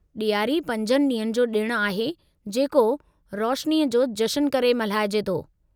ॾियारी पंजनि ॾींहनि जो ॾिणु आहे जेको रोशनीअ जो जशनु करे मल्हाइजे थो।